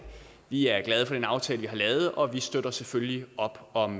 vi er glade for den aftale vi har lavet og vi støtter selvfølgelig op om